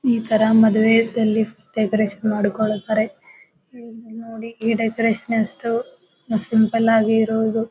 ಈ ತರ ಮದುವೆದಲ್ಲಿ ಡೆಕೋರೇಷನ್ ಮಾಡಿಕೊಳ್ಳುತ್ತಾರೆ. ಇಲ್ಲಿ ನೋಡಿ ಈ ಡೆಕೋರೇಷನ್ ಎಷ್ಟು ಸಿಂಪಲ್ ಆಗಿ ಇರೋದು.